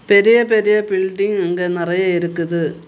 பெரிய பெரிய பில்டிங் இங்க நறைய இருக்குது.